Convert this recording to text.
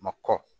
Ma kɔkɔ